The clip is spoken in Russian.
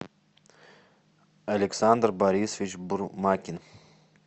александр борисович бурмакин